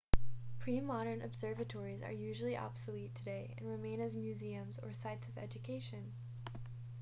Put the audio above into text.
pre-modern observatories are usually obsolete today and remain as museums or sites of education